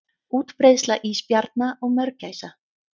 Útbreiðsla ísbjarna og mörgæsa.